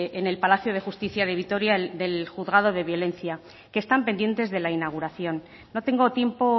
en el palacio de justicia de vitoria del juzgado de violencia que están pendientes de la inauguración no tengo tiempo